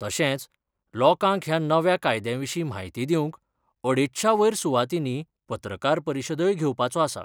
तशेच लोकांक ह्या नव्या कायद्याविशी म्हायती दिवंक अडेचशा वयर सुवातीनी पत्रकार परिषदोय घेवपाचो आसा.